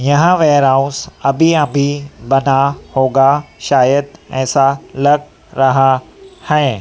यहां वेयरहाउस अभी अभी बना होगा शायद ऐसा लग रहा है।